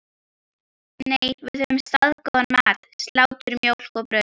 Nei, við höfðum staðgóðan mat: Slátur, mjólk og brauð.